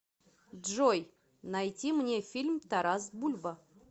джой найти мне фильм тарас бульба